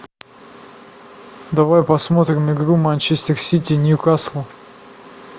давай посмотрим игру манчестер сити ньюкасл